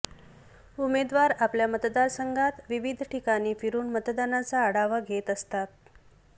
उमेदवार आपल्या मतदारसंघात विविध ठिकाणी फिरून मतदानाचा आढावा घेत असतात